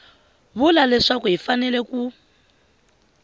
vula leswaku hi fanele ku